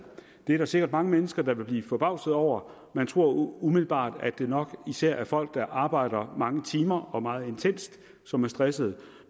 det er der sikkert mange mennesker der vil blive forbavset over man tror umiddelbart at det nok især er folk der arbejder mange timer og meget intenst som er stressede